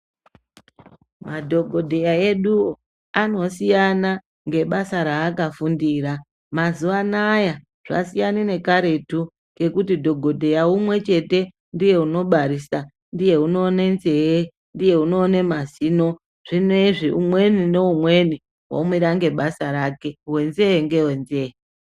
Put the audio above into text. Madhokodheya eduwo anosiyana ngebasa raakafundira, mazuwa anaya zvasiyana nekaretu kekuti dhokodheya umwechete ndiye unobarisa, ndiye unoone nzeye, ndiye unoone mazino zvinezvi umweni neumweni omira ngebasa rake wenzeye ngewenzeye.